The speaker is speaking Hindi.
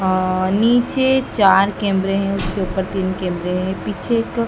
अं नीचे चार कैमरे हैं उसके ऊपर तीन कैमरे है पीछे एक--